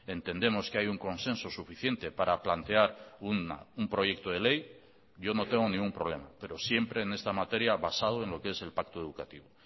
entendemos que hay un consenso suficiente para plantear un proyecto de ley yo no tengo ningún problema pero siempre en esta materia basado en lo que es el pacto educativo